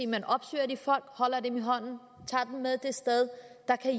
man opsøger de folk holder dem i hånden og tager dem med til et sted der kan